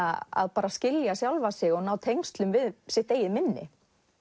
að skilja sjálfa sig og ná tengslum við sitt eigið minni